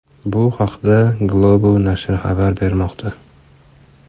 Bu haqda Globo nashri xabar bermoqda .